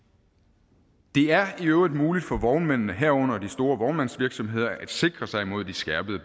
øvrigt muligt for vognmændene herunder de store vognmandsvirksomheder at sikre sig imod de skærpede